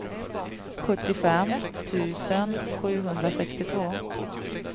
sjuttiofem tusen sjuhundrasextiotvå